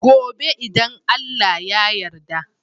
Gobe idan Allah ya yarda